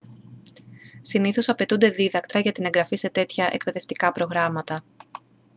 συνήθως απαιτούνται δίδακτρα για την εγγραφή σε τέτοια εκπαιδευτικά προγράμματα